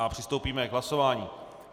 A přistoupíme k hlasování.